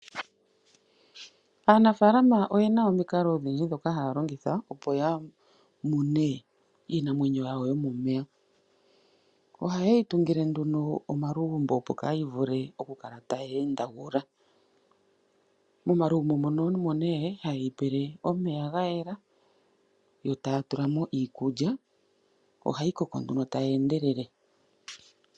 Aanafalama oyena omikalo odhindji dhoka halongotha opo yamune iinamwenyo yawo yomomeya. Ohaye yitungule nduno omalugumbo opo kayivule okukala taye ndagula. Momalugumbo mono omone haye yipile omeya gayela yotatulamo iikulya, ohayi koko nduno tayendelele.